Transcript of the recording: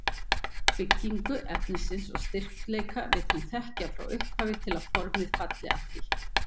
Byggingu efnisins og styrkleika vill hún þekkja frá upphafi til að formið falli að því.